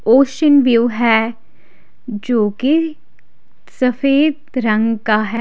Ocean view है जो की सफ़ेद रंग का है।